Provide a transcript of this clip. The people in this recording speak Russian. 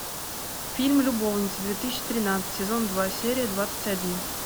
фильм любовницы две тысячи тринадцать сезон два серия двадцать один